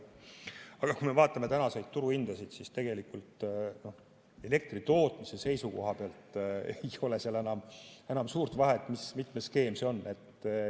Aga kui me vaatame tänaseid turuhindasid, siis näeme, et elektritootmise seisukoha pealt ei ole enam suurt vahet, mitmes skeem see on.